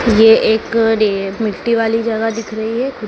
ये एक डे मिट्टी वाली जगह दिख रही है।